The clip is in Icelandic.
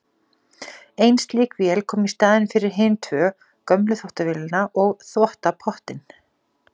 Ein slík vél kom í staðinn fyrir hin tvö, gömlu þvottavélina og þvottapottinn.